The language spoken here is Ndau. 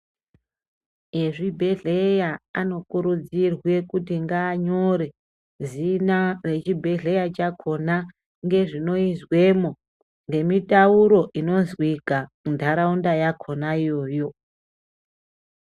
Ezvibhedhleya anokurudzirwe kuti nganyore zina rechibhedhleya chakhona ngezvinoyizvemo ngemitauro inozvika muntaraunda yakhona iyoyo.